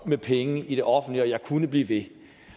i penge i det offentlige og jeg kunne blive ved